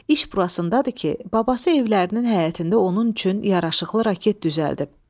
İş burasındadır ki, babası evlərinin həyətində onun üçün yaraşıqlı raket düzəldib.